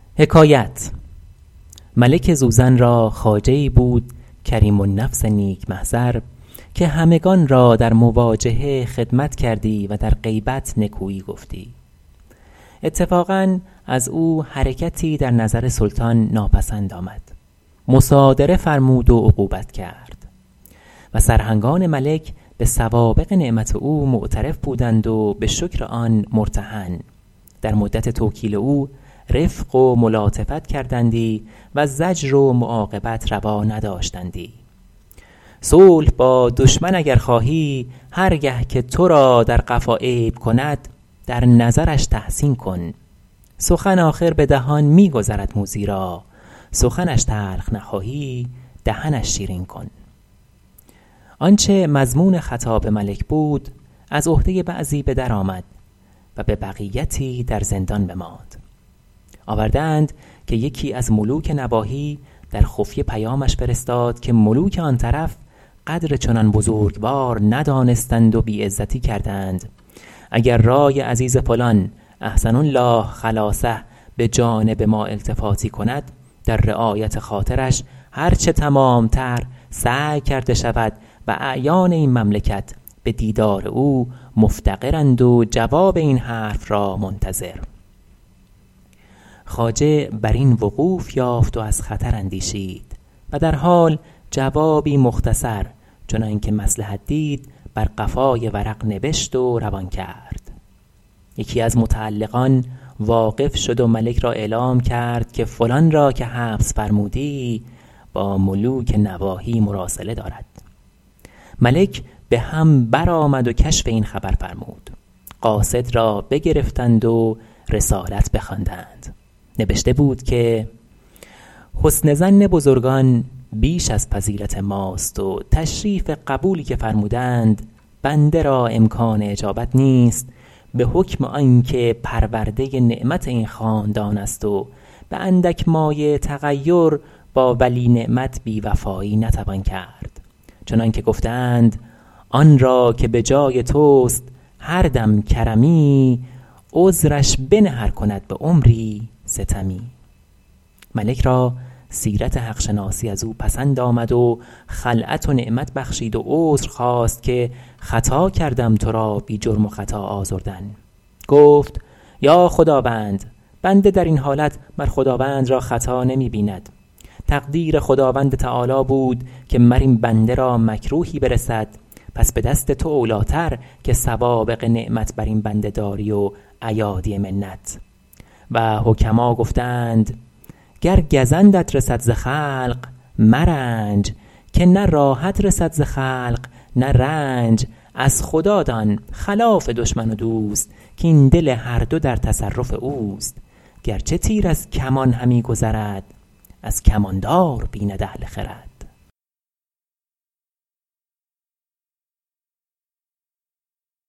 ملک زوزن را خواجه ای بود کریم النفس نیک محضر که همگنان را در مواجهه خدمت کردی و در غیبت نکویی گفتی اتفاقا از او حرکتی در نظر سلطان ناپسند آمد مصادره فرمود و عقوبت کرد و سرهنگان ملک به سوابق نعمت او معترف بودند و به شکر آن مرتهن در مدت توکیل او رفق و ملاطفت کردندی و زجر و معاقبت روا نداشتندی صلح با دشمن اگر خواهی هر گه که تو را در قفا عیب کند در نظرش تحسین کن سخن آخر به دهان می گذرد موذی را سخنش تلخ نخواهی دهنش شیرین کن آنچه مضمون خطاب ملک بود از عهده بعضی به در آمد و به بقیتی در زندان بماند آورده اند که یکی از ملوک نواحی در خفیه پیامش فرستاد که ملوک آن طرف قدر چنان بزرگوار ندانستند و بی عزتی کردند اگر رای عزیز فلان احسن الله خلاصه به جانب ما التفاتی کند در رعایت خاطرش هر چه تمام تر سعی کرده شود و اعیان این مملکت به دیدار او مفتقرند و جواب این حرف را منتظر خواجه بر این وقوف یافت و از خطر اندیشید و در حال جوابی مختصر چنان که مصلحت دید بر قفای ورق نبشت و روان کرد یکی از متعلقان واقف شد و ملک را اعلام کرد که فلان را که حبس فرمودی با ملوک نواحی مراسله دارد ملک به هم برآمد و کشف این خبر فرمود قاصد را بگرفتند و رسالت بخواندند نبشته بود که حسن ظن بزرگان بیش از فضیلت ماست و تشریف قبولی که فرمودند بنده را امکان اجابت نیست به حکم آن که پرورده نعمت این خاندان است و به اندک مایه تغیر با ولی نعمت بی وفایی نتوان کرد چنان که گفته اند آن را که به جای توست هر دم کرمی عذرش بنه ار کند به عمری ستمی ملک را سیرت حق شناسی از او پسند آمد و خلعت و نعمت بخشید و عذر خواست که خطا کردم تو را بی جرم و خطا آزردن گفت ای خداوند بنده در این حالت مر خداوند را خطا نمی بیند تقدیر خداوند تعالیٰ بود که مر این بنده را مکروهی برسد پس به دست تو اولی ٰتر که سوابق نعمت بر این بنده داری و ایادی منت و حکما گفته اند گر گزندت رسد ز خلق مرنج که نه راحت رسد ز خلق نه رنج از خدا دان خلاف دشمن و دوست کاین دل هر دو در تصرف اوست گرچه تیر از کمان همی گذرد از کمان دار بیند اهل خرد